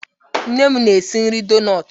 Nne m na-esi nri donut